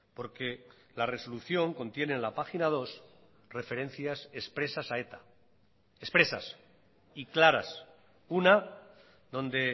porque la resolución contiene en la página dos referencias expresas a eta expresas y claras una donde